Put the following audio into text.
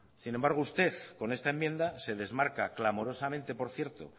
sin embargo usted con esta enmienda se desmarca clamorosamente por cierto